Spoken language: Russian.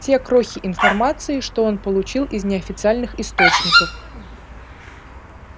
те крохи информации что он получил из неофициальных источников